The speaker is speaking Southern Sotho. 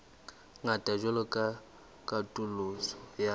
ngata jwalo ka katoloso ya